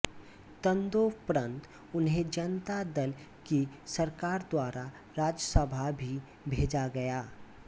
तदोपंरत उन्हें जनता दल की सरकार द्वारा राज्यसभा भी भेजा गया